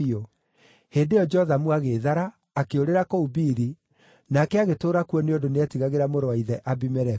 Hĩndĩ ĩyo Jothamu agĩĩthara, akĩũrĩra kũu Biri, nake agĩtũũra kuo nĩ ũndũ nĩetigagĩra mũrũ wa ithe, Abimeleku.